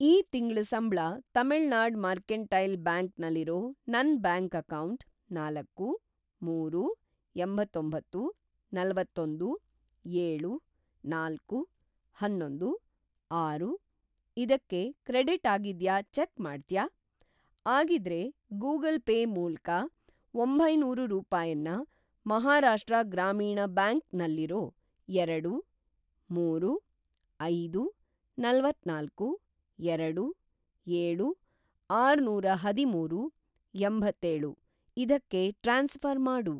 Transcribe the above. ಈ ತಿಂಗ್ಳ ಸಂಬ್ಳ ತಮಿಳ್‌ನಾಡ್‌ ಮರ್ಕೆಂಟೈಲ್‌ ಬ್ಯಾಂಕ್ ನಲ್ಲಿರೋ ನನ್‌ ಬ್ಯಾಂಕ್ ಅಕೌಂಟ್‌‌ ನಾಲ್ಕು, ಮೂರು, ಎಂತ್ತೊಂಬತ್ತು, ನಲವತ್ತೊಂದು, ಏಳು, ನಾಲ್ಕು, ಅನ್ನೊಂದು, ಆರು ಇದಕ್ಕೆ ಕ್ರೆಡಿಟ್‌ ಆಗಿದ್ಯಾ ಚೆಕ್‌ ಮಾಡ್ತ್ಯಾ? ಆಗಿದ್ರೆ, ಗೂಗಲ್‌ ಪೇ ಮೂಲ್ಕ ಒಂಬೈನೂರು ರೂಪಾಯನ್ನ ಮಹಾರಾಷ್ಟ್ರ ಗ್ರಾಮೀಣ್‌ ಬ್ಯಾಂಕ್ ನಲ್ಲಿರೋ ಎರಡು, ಮೂರು, ಐದು, ನಲವತ್ತನಾಲ್ಕು, ಎರಡು, ಏಳು, ಆರುನೂರಅದಿಮೂರು, ಎಂಬತ್ತೇಳು ಇದಕ್ಕೆ ಟ್ರಾನ್ಸ್‌ಫ಼ರ್‌ ಮಾಡು.